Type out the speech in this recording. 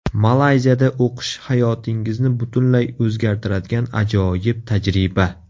Malayziyada o‘qish hayotingizni butunlay o‘zgartiradigan ajoyib tajriba.